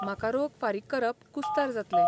म्हाका रोख फारीक करप कुस्तार जातलें .